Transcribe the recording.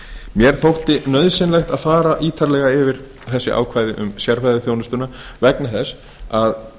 mér þótti nauðsynlegt að fara ítarlega yfir þessi ákvæði um sérfræðiþjónustuna vegna þess að